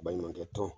Baɲumankɛ tɔn